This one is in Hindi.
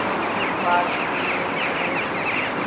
इसके पास में रेड कलर से कुछ--